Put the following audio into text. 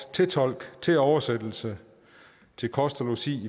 tolk oversættelse kost og logi